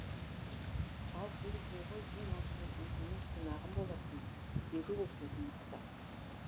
ал бұл жолы ең алдымен өзімнің қонағым боласың деді ол сөзін нықтап